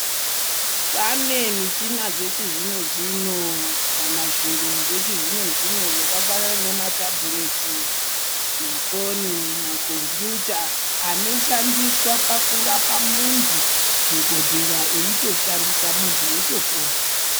Pane michina dzechizvino zvino kana zviro zvechizvino zvino zvakafanana nematabhureti, mafoni, makombiyuta anoshandiswa pakurapa muntu dhogodheya eyitoshandise muntu eyitopona.